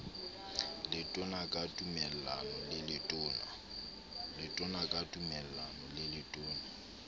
letona ka tumellano le letona